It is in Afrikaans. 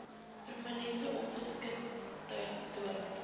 permanente ongeskiktheid dood